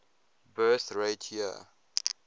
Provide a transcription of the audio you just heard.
birth rate year